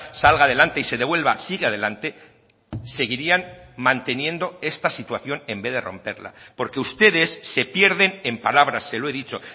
salga adelante y se devuelva sigue adelante seguirían manteniendo esta situación en vez de romperla porque ustedes se pierden en palabras se lo he dicho